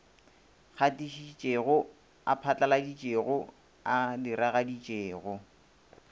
gatišitšego a phatlaladitšego a diragaditšego